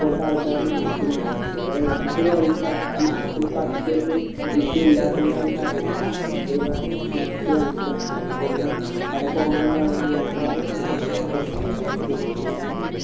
ഇപ്പോഴത്തെ ആൾക്കാർ ഒന്നും ഇരിക്കുന്നില്ല അതേപോലെ ഞമ്മക്ക് വേണ്ടിയാണ് നമ്മളെ നാട്ടിൽ issue ഇല്ലാത്തോണ്ട് ഞങ്ങൾക്കറിയില്ല നമ്മള് ഒരുപാടു മെച്ചത്തിൽ വന്നിക്ക്‌ണ്‌ പിന്നെ ഇവിടെ corona യും കാര്യങ്ങളും വല്ലാതെ അനുഭവപ്പെട്ടിട്ടില്ല ഇവിടെ പിന്നെ